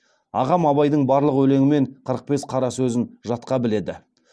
ағам абайдың барлық өлеңі мен қырық бес қара сөзін жатқа біледі